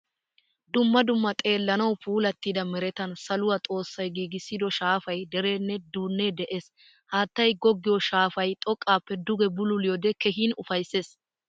Dumma dumma xeelanawu puulattida merettan saluwaa xoossay giigissido shaafay, derenne duunne de'ees. Haattaay goggiyo shaafay xoqqappe dugge bululiyode keehin ufayssees.